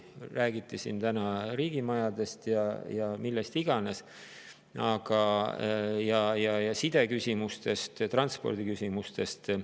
Siin räägiti täna ka riigimajadest ja millest iganes, näiteks sideküsimustest ja transpordiküsimustest.